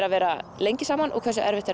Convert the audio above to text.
að vera lengi saman og hversu erfitt er